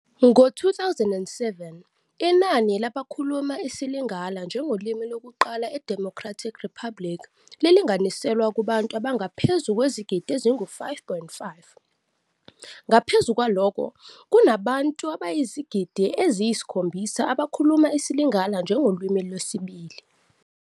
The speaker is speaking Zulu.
Ngo-2007 inani labakhuluma isiLingala njengolimi lokuqala eDemocratic Republic lilinganiselwa kubantu abangaphezu kwezigidi ezingu-5.5, ngaphezu kwalokho kunabantu abayizigidi eziyisikhombisa abakhuluma isiLingala njengolimi lwesibili.